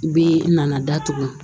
Bi nana datugu